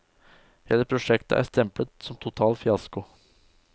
Hele prosjektet er stemplet som total fiasko.